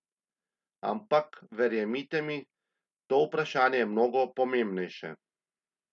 Ampak, verjemite mi, to vprašanje je mnogo pomembnejše.